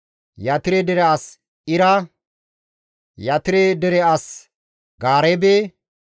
Yatire dere as Ira, Yatire dere as Gaareebe,